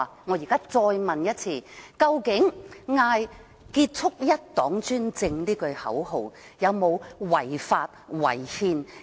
我再問一次，究竟呼叫"結束一黨專政"口號是否屬違法和違憲？